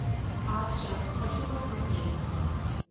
астра хочу посмотреть